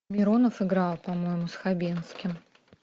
миронов играл по моему с хабенским